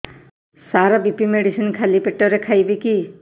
ସାର BP medicine ଖାଲି ପେଟରେ ଖାଇବି କି